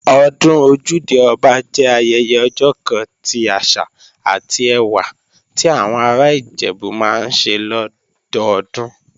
Ọdún Ojúde-Ọba jẹ́ ayẹyẹ ọjọ́ kan ti àṣà àti ẹwà ti àwọn ará Ìjẹ̀bú máa ń ṣe lọ́dọdún